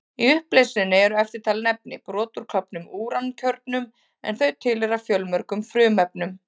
Í upplausninni eru eftirtalin efni: Brot úr klofnum úrankjörnum, en þau tilheyra fjölmörgum frumefnum.